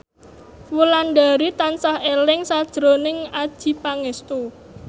Wulandari tansah eling sakjroning Adjie Pangestu